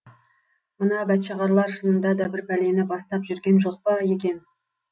мына бәтшағарлар шынында да бір пәлені бастап жүрген жоқ па екен